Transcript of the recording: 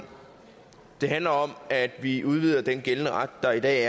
det handler om at vi udvider den gældende ret der er i dag